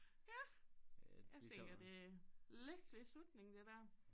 Ja jeg tænker det er lykkelig slutning det dér